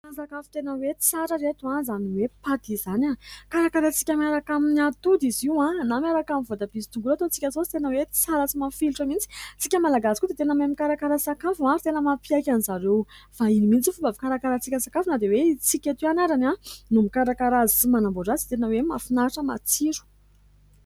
Fa sakafo tena hoe tsara ireto izany hoe paty izany. Karakarantsika miaraka amin'ny atody izy io na miaraka amin'ny voatabia sy tongolo ataontsika saosy tena hoe tsara sy mafilotra mihitsy. Isika malagasy koa dia tena mahay mikarakara sakafo ary tena mampiaiky an'izareo vahiny mihitsy fomba fikarakarantsika sakafo na dia hoe isika eto ihany arany no mikarakara azy sy manamboatra azy dia tena hoe mahafinahitra matsiro.